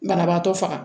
Banabaatɔ faga